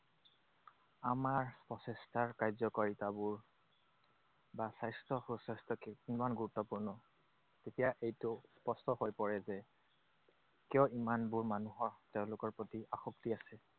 আমাৰ প্ৰচেষ্টাৰ কাৰ্যকাৰিতাবোৰ বা স্বাস্থ্য সুস্বাস্থ্য কিমান গুৰুত্বপূৰ্ণ, তেতিয়া এইটো স্পষ্ট হৈ পৰে যে তেওঁ ইমানবোৰ মানুহক তেওঁলোকৰ প্ৰতি আসক্তি আছে